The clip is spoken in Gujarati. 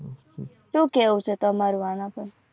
શું કેહુ છે તમારો અનાતો